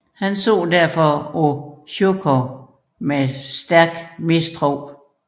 Han så derfor på Sjukov med stærk mistro